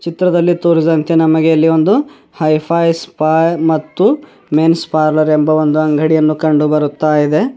ಚಿತ್ರದಲ್ಲಿ ತೋರಿಸಿದಂತೆ ನಮಗೆ ಇಲ್ಲಿ ಒಂದು ಹೈ ಫೈ ಸ್ಪಯ್ ಮತ್ತು ಮೆನ್ಸ್ ಪಾರ್ಲರ್ ಎಂಬ ಒಂದು ಅಂಗಡಿಯನ್ನು ಕಂಡುಬರುತ್ತಯಿದೆ.